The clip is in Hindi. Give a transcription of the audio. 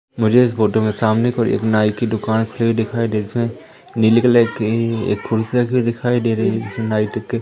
मुझे इस फोटो में सामने कोई एक नाई की दुकान खुली हुई दिखाई दे जिसमें नीले कलर की एक कुर्सी रखी हुई दिखाई दे रही नाइट के--